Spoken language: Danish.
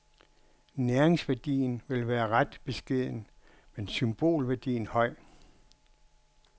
Næringsværdien vil være ret beskeden, men symbolværdien høj.